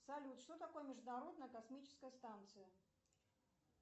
салют что такое международная космическая станция